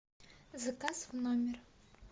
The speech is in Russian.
заказ в номер